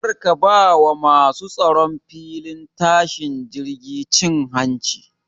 Kar ka ba wa masu tsaron filin tashin jirgi cin hanci